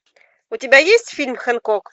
у тебя есть фильм хэнкок